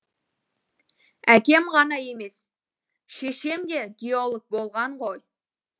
әкем ғана емес шешем де геолог болған ғой